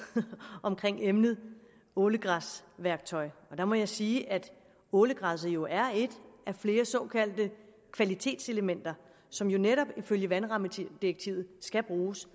omkring emnet ålegræsværktøjet og der må jeg sige at ålegræsset jo er et af flere såkaldte kvalitetselementer som netop ifølge vandrammedirektivet skal bruges